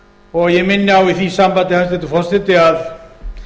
og ég minni á í því sambandi hæstvirtur forseti að